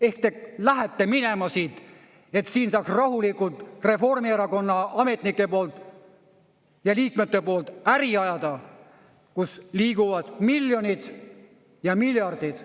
Ehk te lähete minema siit, et siin saaks rahulikult Reformierakonna ametnike poolt ja liikmete poolt äri ajada, kus liiguvad miljonid ja miljardid.